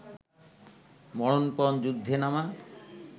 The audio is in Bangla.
মরণপণ যুদ্ধে নামা